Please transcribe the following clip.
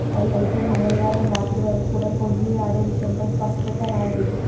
అయితే మంగళవారం రాత్రి వరకు కూడా కోహ్లి ఆడే విషయంపై స్పష్టత రాలేదు